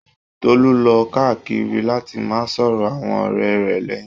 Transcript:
Tolu lọ káàkiri láti máà sọ̀rọ̀ àwọn ọ̀rẹ́ rẹ̀ lẹ́yìn.